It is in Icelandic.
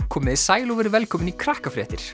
komiði sæl og verið velkomin í